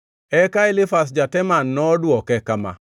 Eka Elifaz ja-Teman nodwoke kama: